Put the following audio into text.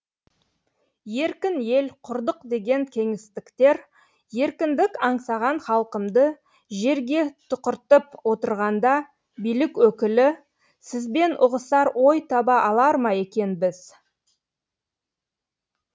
еркін ел құрдық деген кеңестіктер еркіндік аңсаған халқымды жерге тұқыртып отырғанда билік өкілі сізбен ұғысар ой таба алар ма екенбіз